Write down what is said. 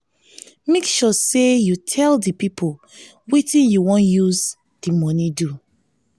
make sure say you tell di pipo wetin you won use di money do